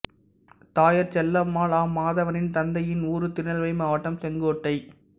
தாயார் செல்லம்மாள் ஆ மாதவனின் தந்தையின் ஊர் திருநெல்வேலி மாவட்டம் செங்கோட்டை